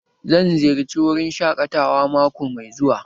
Zan ziyarci wurin shaƙatawa mako mai zuwa